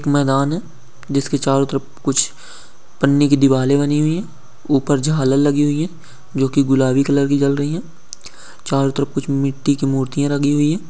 मैदान है जिसकी चारो तरफ कुछ पानी की दिवाली बनी हुई है ऊपर झालर लगी हुई है। जो की गुलाबी कलर की जल रही है चारो तरफ कुछ मिट्टी की मूर्तिया लगी हुई है।